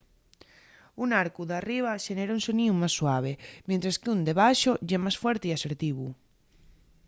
un arcu d’arriba xenera un soníu más suave mientres qu’ún de baxo ye más fuerte y asertivu